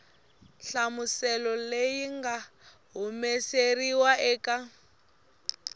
nhlamuselo leyi nga humesiwa eka